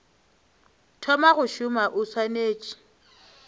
thoma go šoma o swanetše